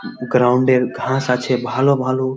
Ground এর ঘাস আছে ভালো ভালোও ।